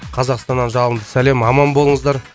қазақстаннан жалынды сәлем аман болыңыздар